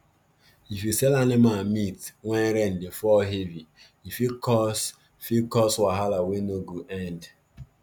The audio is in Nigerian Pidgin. if you sell animal meat when rain dey fall heavy e fit cause fit cause wahala wey no go end